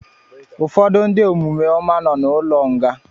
Ụfọdụ ndị omume ọma nọ na ụlọ nga